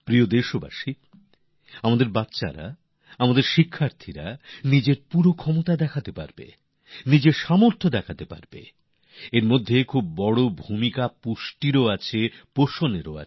প্রিয় দেশবাসী আমাদের এখানকার শিশুরা আমাদের ছাত্রছাত্রীরা যাতে নিজেদের পূর্ণ ক্ষমতা দেখতে পারেন নিজেদের যোগ্যতা দেখাতে পারেন তার পিছনে বিরাট বড় ভূমিকা থাকে পুষ্টিরও